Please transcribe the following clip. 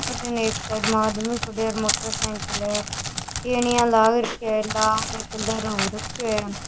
अठीने एक साइड में आदमी खड़े है मोटर साईकिल है टेनिया लाग रखा है लाल कलर हो रखो है।